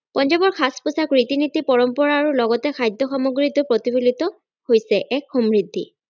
পঞ্জাৱৰ সাজ-পোছাক ৰীতি -নীতি পৰম্পৰা আৰু লগতে খাদ্য সামগ্ৰীতো প্ৰতিফলিত হৈছে এক সমৃদ্ধি।